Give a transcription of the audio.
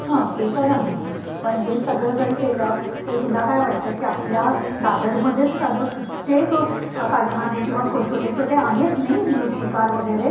हां ते पण आहे पण हे सगळं जरी केलं तरी तुला काय वाटतं की आपल्या दादर मध्येच साध कित्येक कारखाने किंवा छोटे छोटे आहेत नाही? मूर्तिकार वगैरे